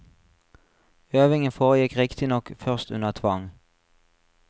Øvingen foregikk riktignok først under tvang.